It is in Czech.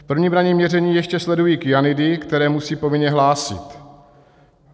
V prvním ranním měření ještě sledují kyanidy, které musí povinně hlásit.